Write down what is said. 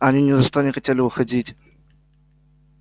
а они ни за что не хотели уходить